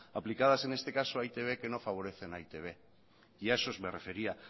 aplicadas en este caso a e i te be que no favorecen a e i te be y a esos me refería